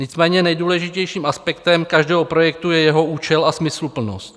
Nicméně nejdůležitějším aspektem každého projektu je jeho účel a smysluplnost.